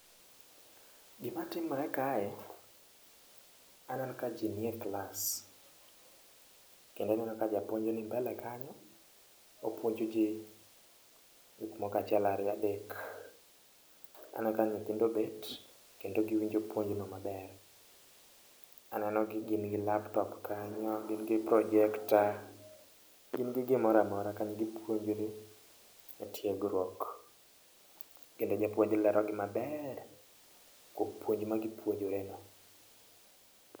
Gima timore kae, aneno ka ji nie klas. Kendo aneno ka japuonj ni mbele kanyo opuonjo ji gik moko achiel ariyo adek, aneno ka nyithindo obet kendo giwinjo puonj no maber. Aneno ni gin gi laptop kanyo, gin gi projekta, gin gi gimoro amora kanyo, gipuonjre e tiegruok. Kendo japuonj lero negi maber kuom puonj ma gi puonjreno.